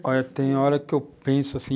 Olha, tem hora que eu penso assim...